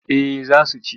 Eh za su ci.